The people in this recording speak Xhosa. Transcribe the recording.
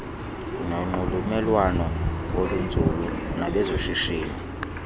nonxulumelwano olunzulu nabezoshishino